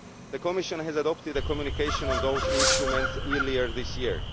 The Commission adopted a communication on those instruments earlier this year.